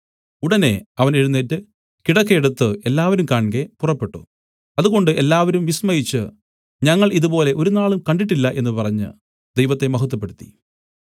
ഉടനെ അവൻ എഴുന്നേറ്റ് കിടക്ക എടുത്തു എല്ലാവരും കാൺകെ പുറപ്പെട്ടു അതുകൊണ്ട് എല്ലാവരും വിസ്മയിച്ചു ഞങ്ങൾ ഇതുപോലെ ഒരുനാളും കണ്ടിട്ടില്ല എന്നു പറഞ്ഞു ദൈവത്തെ മഹത്വപ്പെടുത്തി